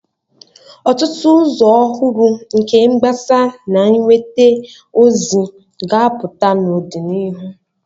Ọtụtụ ụzọ ọhụrụ nke ịgbasa na inweta ozi ga-apụta n'ọdịnihu.